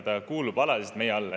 Ta kuulub alaliselt meie alla.